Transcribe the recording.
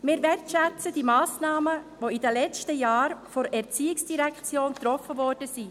Wir wertschätzen die Massnahmen, die in den letzten Jahren von der ERZ getroffen worden sind.